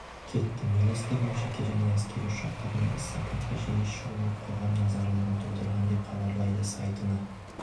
кетті министрдің жеке және әскери ұшақтармен іссапаға жиі шығуы қоғам наразылығын тудырған деп хабарлайды сайтына